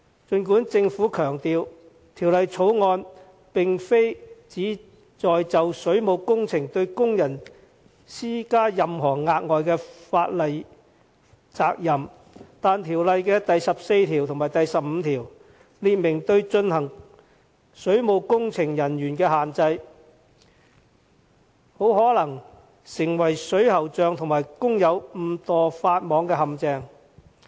儘管政府強調《條例草案》並非旨在就水務工程對工人施加任何額外的法律責任，但第14條及第15條列明對進行水務工程人員的限制，很可能成為水喉匠和工友誤墮法網的陷阱。